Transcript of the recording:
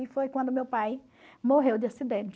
E foi quando meu pai morreu de acidente.